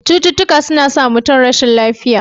Cututtuka suna sa mutum rashin lafiya.